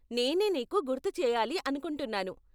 నేనే నీకు గుర్తు చేయాలి అనుకుంటున్నాను.